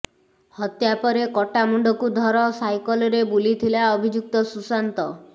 ହତ୍ୟା ପରେ କଟା ମୁଣ୍ଡକୁ ଧର ସାଇକେଲରେ ବୁଲିଥିଲା ଅଭିଯୁକ୍ତ ସୁଶାନ୍ତ